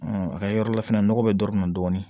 a ka yɔrɔ la fɛnɛ nɔgɔ bɛ dɔ min na dɔɔnin